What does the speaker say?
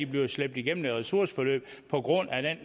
bliver slæbt igennem et ressourceforløb på grund af den